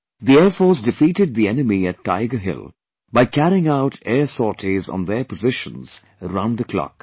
The Air Force defeated the enemy at Tiger Hill by carrying out air sorties on their positions round the clock